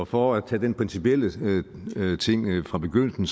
for at tage den principielle ting fra begyndelsen